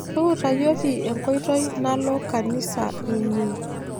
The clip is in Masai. Tuutayioki enkoitoi nalo kanisa inyi